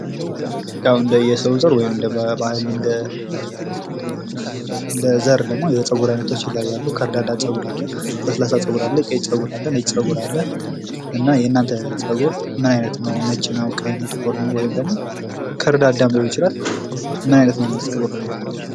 ያው እንደየሰው ዘር ወይም ደሞ እንደ ባህል የተለያዩ አይነት ፀጉሮች ይኖራሉ ከርዳዳ ፀጉር፥ ለስላሳ ፀጉር አለ ፥ ነጭ ጸጉር አለ ፥ የእናንተ ፀጉር ምን አይነት ነው ነጭ ነው ፥ ቀይ ነው፥ ጥቁር ነው፥ ወይም ደግሞ ከርዳዳም ሊሆን ይችላል ምን አይነት ነው የእናንተ ፀጉር?